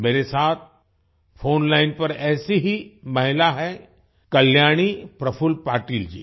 मेरे साथ phone line पर ऐसी ही महिला है कल्याणी प्रफुल्ल पाटिल जी